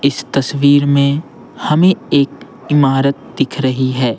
इस तस्वीर में हमें एक इमारत दिख रही है।